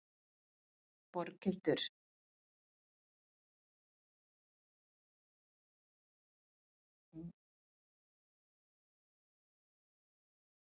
Boghildur, spilaðu lag.